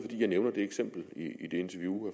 jeg nævner det eksempel i det interview